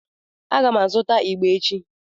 A ga m azụta ịgbà echi.